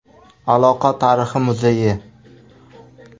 Aloqa tarixi muzeyi.